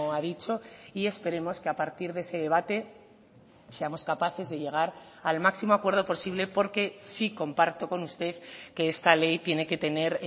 ha dicho y esperemos que a partir de ese debate seamos capaces de llegar al máximo acuerdo posible porque sí comparto con usted que esta ley tiene que tener